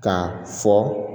K'a fɔ